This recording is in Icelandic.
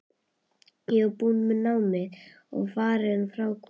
Ég var búin með námið og farin frá Gústa.